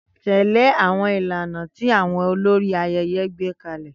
Tẹ̀lé àwọn ìlànà tí àwọn olórí ayẹyẹ gbé kalẹ̀.